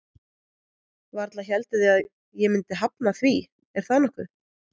Varla hélduð þið að ég myndi hafna því, er það nokkuð?